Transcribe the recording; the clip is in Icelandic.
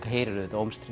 heyrir auðvitað